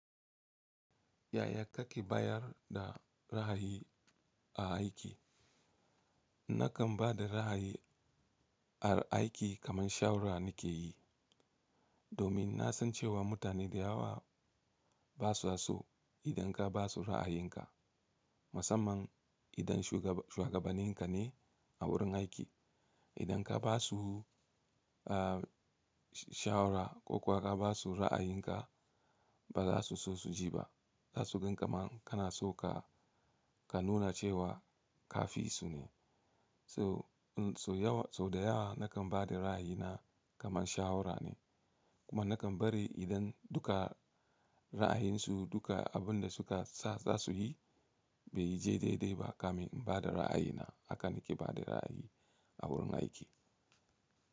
Yaya kake bayar da ra’ayi a aiki? Nakan ba da ra’ayi a aiki kaman shawara nake yi, domin na san cewa mutane da yawa ba sa so idan ka ba su ra’ayinka, musamman idan shuwagabanin ka ne a wurin aiki. Idan ka ba su, ah, shawara ko kuwa ka ba su ra’ayinka, ba za su so su ji ba. Za su gan kamar kana so ka, ka nuna cewa ka fi su ne. To, so yawa, sau da yawa nakan ba da ra’ayi na kamar shawara ne. Kuma nakan bari idan duka ra’ayinsu duka abin da suka sa zasu yi, bai yi je dai dai ba kamin in ba da ra’ayi na. Haka nake ba da ra’ayi a wurin aiki.